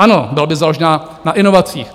Ano, byla by založen na inovacích.